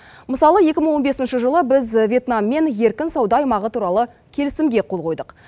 мысалы екі мың он бесінші жылы біз вьетнаммен еркін сауда аймағы туралы келісімге қол қойдық